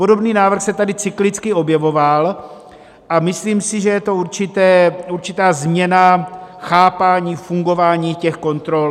Podobný návrh se tady cyklicky objevoval a myslím si, že je to určitá změna chápání fungování těch kontrol.